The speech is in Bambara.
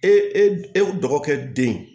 E e e dɔgɔkɛ den